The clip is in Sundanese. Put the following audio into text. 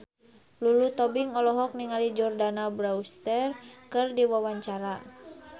Lulu Tobing olohok ningali Jordana Brewster keur diwawancara